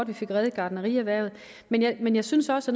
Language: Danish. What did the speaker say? vi fik reddet gartnerierhvervet men jeg men jeg synes også